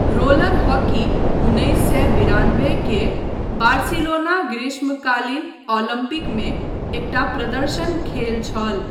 Roller hockey उन्नैस सए बिरानबे के बार्सिलोना ग्रीष्मकालीन ओलंपिकमे एकटा प्रदर्शन खेल छल।